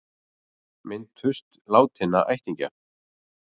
Minntust látinna ættingja